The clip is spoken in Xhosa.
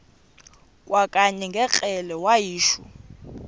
kwakanye ngekrele wayishu